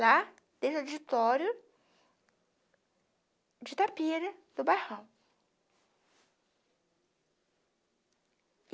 Lá, dentro do editório de Itapira, do bairrão.